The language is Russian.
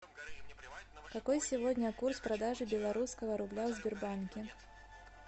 какой сегодня курс продажи белорусского рубля в сбербанке